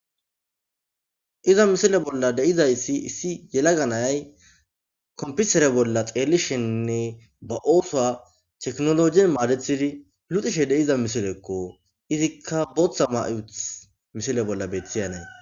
Iza misile bolla deizayssi issi yelaganay kompisere bolla xeelisheninne ba oosoa teknoloji maadethidi lutishe deiza misilekko izikka bootha mayut misile bolla beethiyanee.